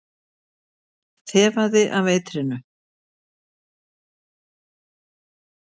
Þefaði af eitrinu.